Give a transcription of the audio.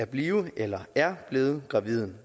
blive eller er blevet gravide